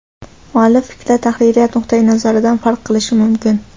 Muallif fikri tahririyat nuqtayi nazaridan farq qilishi mumkin.